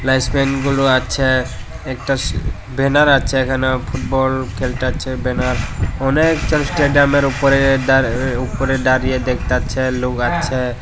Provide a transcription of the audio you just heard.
স্পেনগুলো আছে একটা স বেনার আছে এখানে ফুটবল খেলতাছে বেনার অনেকজন স্টেডিয়ামের উপরে দাঁড় উপরে দাঁড়িয়ে দেখতাছে লুক আছে।